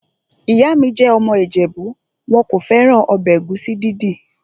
Ìyá mi jẹ́ ọmọ ìjẹ̀bú. Wọn kò fẹ́ràn ọbẹ̀ ẹ̀gúsí dídì.